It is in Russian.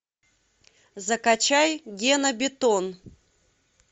закачай гена бетон